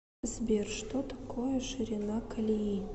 сбер что такое ширина колеи